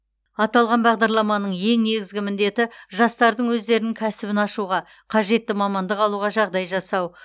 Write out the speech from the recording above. аталған бағдарламаның ең негізгі міндеті жастардың өздерінің кәсібін ашуға қажетті мамандық алуға жағдай жасау